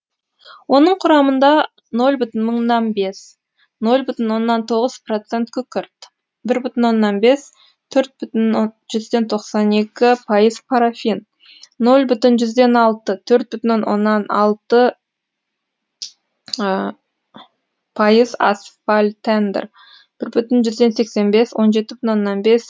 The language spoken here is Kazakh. оның құрамында нөл бүтін мыңнан бес нөл бүтін оннан тоғыз процент күкірт бір бүтін оннан бес төрт бүтін жүзден тоқсан екі пайыз парафин нөл бүтін жүзден алты төрт бүтін оннан алты пайыз асфальтендер бір бүтін жүзден сексен бес он жеті бүтін оннан бес